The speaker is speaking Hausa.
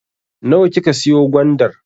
Nawa kika siyo gwandar?